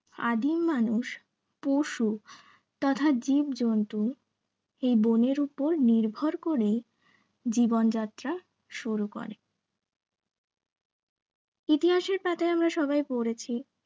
আদিম মানুষ পশু তথা জীবজন্তু এই বনের ওপর নির্ভর করে জীবন যাত্রা শুরু করে ইতিহাসের পাতায় আমরা সবাই পড়েছি